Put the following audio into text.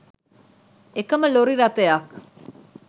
එකම ලොරි රථයක්